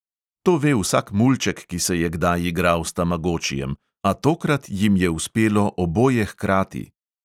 To ve vsak mulček, ki se je kdaj igral s tamagočijem, a tokrat jim je uspelo oboje hkrati.